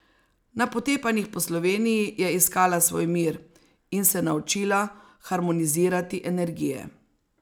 Na potepanjih po Sloveniji je iskala svoj mir in se naučila harmonizirati energije.